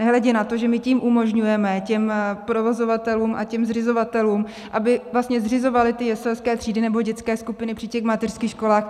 Nehledě na to, že my tím umožňujeme těm provozovatelům a těm zřizovatelům, aby vlastně zřizovali ty jeselské třídy, nebo dětské skupiny, při těch mateřských školách.